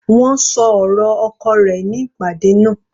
Wọ́n ṣọ ọ̀rọ̀ oko rẹ̀ ní ìpàdé náà.